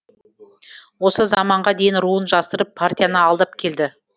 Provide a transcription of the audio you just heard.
осы заманға дейін руын жасырып партияны алдап келді